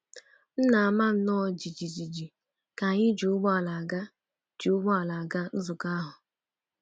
M na-ama nnọọ jijiji ka anyị ji ụgbọala aga ji ụgbọala aga nzukọ ahụ.